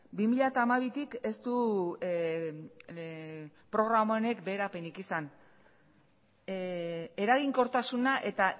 bi mila hamabitik ez du programa honek beherapenik izan eraginkortasuna eta